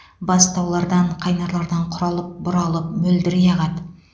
бастаулардан қайнарлардан құралып бұралып мөлдірей ағады